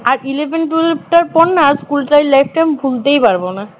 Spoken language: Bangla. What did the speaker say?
আর eleven twelve টার পর না স্কুলের life টাই ভুলতেই পারব না